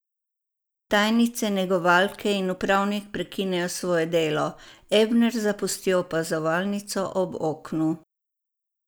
Tajnice, negovalke in upravnik prekinejo svoje delo, Ebner zapusti opazovalnico ob oknu.